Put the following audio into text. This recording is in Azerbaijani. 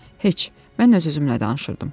Heç, mən öz-özümlə danışırdım.